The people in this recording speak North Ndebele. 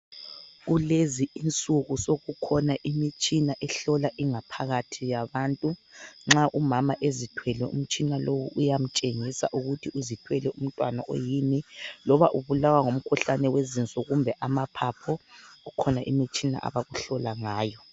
Kulezinsuku sokukhona imitshina ehlola ingaphakathi yabantu. Nxa umama ezithwele, umtshina lowu uyamtshengisa ukuthi uzithwele umntwana oyini. Loba ubulawa ngumkhuhlane wezinso kumbe amaphapho, kukhona imitshina abakuhlola ngayo.